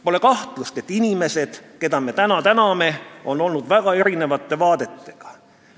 Pole kahtlustki, et inimesed, keda me täna täname, on olnud mitmesuguste vaadetega.